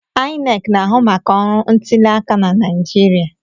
INEC na-ahụ maka ọrụ ntuliaka na Naịjirịa.